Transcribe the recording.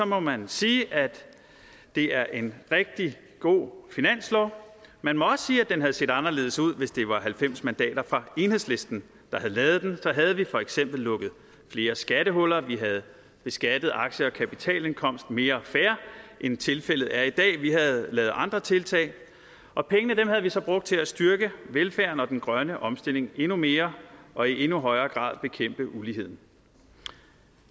må man sige at det er en rigtig god finanslov man må også sige at den havde set anderledes ud hvis det var halvfems mandater fra enhedslisten der havde lavet den så havde vi for eksempel lukket flere skattehuller vi havde beskattet aktie og kapitalindkomst mere fair end tilfældet er i dag vi havde lavet andre tiltag og pengene havde vi så brugt til at styrke velfærden og den grønne omstilling endnu mere og i endnu højere grad bekæmpe uligheden